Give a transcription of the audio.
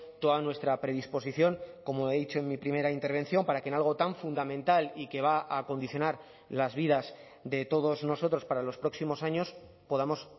toda nuestra predisposición como he dicho en mi primera intervención para que en algo tan fundamental y que va a condicionar las vidas de todos nosotros para los próximos años podamos